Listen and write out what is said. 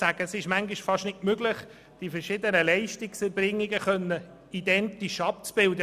Manchmal ist es fast nicht möglich, die verschiedenen Leistungserbringungen identisch abzubilden.